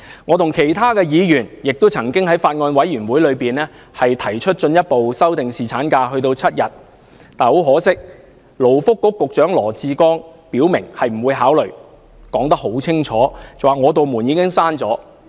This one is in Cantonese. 我與其他議員亦曾在法案委員會上，進一步要提出修訂侍產假至7天的建議，但勞工及福利局局長羅致光卻表明不會考慮，並清楚說明"我的門已經關上"。